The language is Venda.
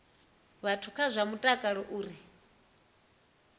vhathu kha zwa mutakalo uri